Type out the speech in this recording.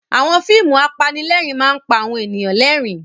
Àwọn fíìmù apanílẹ̀rín máa ń pa àwọn ènìyàn lẹ́rìn-ín.